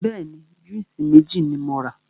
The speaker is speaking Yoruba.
Bẹ́ẹ̀ni, júùsí méjì ni mo rà.